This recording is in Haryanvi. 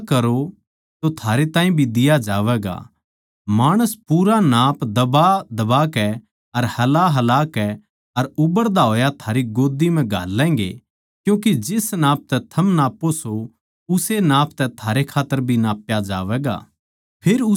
दिया करो तो थारै ताहीं भी दिया जावैगा माणस पूरा नाप दबा दबाकै अर हलाहलाकै अर उभरदा होया थारी गोद्दी म्ह घाल्लैगें क्यूँके जिस नाप तै थम नाप्पो सों उस्से नाप तै थारै खात्तर भी नाप्या जावैगा